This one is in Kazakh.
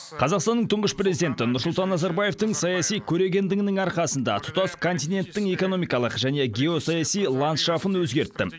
қазақстанның тұңғыш президенті нұрсұлтан назарбаевтың саяси көрегендігінің арқасында тұтас континенттің экономикалық және геосаяси ландшафын өзгертті